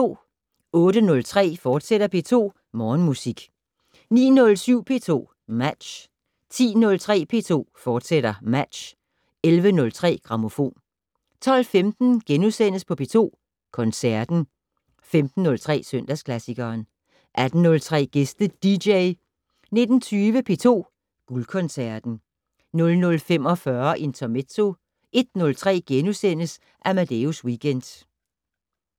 08:03: P2 Morgenmusik, fortsat 09:07: P2 Match 10:03: P2 Match, fortsat 11:03: Grammofon 12:15: P2 Koncerten * 15:03: Søndagsklassikeren 18:03: Gæste dj 19:20: P2 Guldkoncerten 00:45: Intermezzo 01:03: Amadeus Weekend *